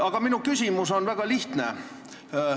Aga minu küsimus on väga lihtne.